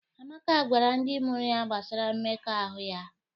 Amaka gwara ndị mụrụ ya gbasara mmekọahụ ya